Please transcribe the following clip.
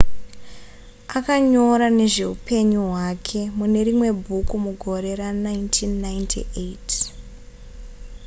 akanyora nezveupenyu hwake mune rimwe bhuku mugore ra1998